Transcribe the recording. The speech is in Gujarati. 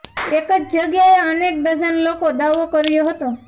એક જ જગ્યાએ અનેક ડઝન લોકો દાવો કર્યો હતો